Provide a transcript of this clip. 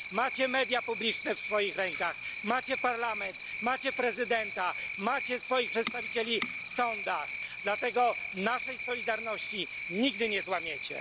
Macie media publiczne w swoich rękach, macie parlament, macie prezydenta, macie swoich przedstawicieli w sądach, dlatego naszej solidarności nigdy nie złamiecie.